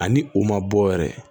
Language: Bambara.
Ani u ma bɔ yɛrɛ